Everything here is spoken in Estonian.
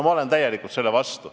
Ma olen täielikult selle vastu.